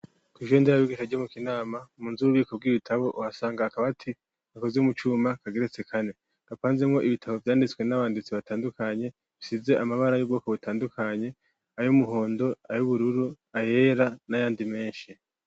kw'ishure nderabigisha ryo mu kinama munzu ububiko bw'ibitabo uhasanga akabaati gakoze mucuma kageretse kane kapanzeko ibitabo vyanditswe n'abanditsi batandukanye bisize amabara y'ubwoko butandukanye ay'umuhondo ay'ubururu ayera n'ayandi menshi.